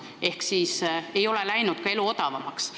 Elu ei ole läinud odavamaks.